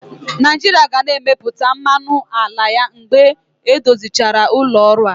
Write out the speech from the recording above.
Naijiria ga na-emepụta mmanụ ala ya mgbe edozichara ụlọ ọrụ a.